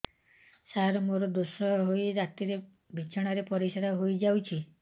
ସାର ମୋର ଦୋଷ ହୋଇ ରାତିରେ ବିଛଣାରେ ପରିସ୍ରା ହୋଇ ଯାଉଛି